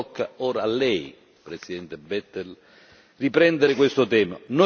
Tocca ora a lei, Presidente Bettel, riprendere questo tema.